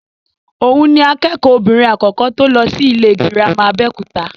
Òhun ni akẹ́kọ̀ọ́ obìnrin àkọ́kọ́ tó lọ sí ilé gírámà Abẹ́òkúta.